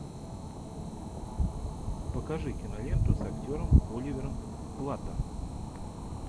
покажи киноленту с актером оливером платтом